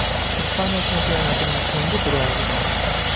Ispaniya chempionatining so‘nggi turi oldidan.